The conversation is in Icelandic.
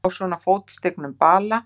Á svona fótstignum bala!